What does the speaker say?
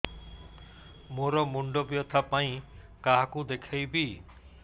ମୋର ମୁଣ୍ଡ ବ୍ୟଥା ପାଇଁ କାହାକୁ ଦେଖେଇବି